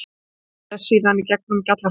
Kallaði síðan í gegnum gjallarhornið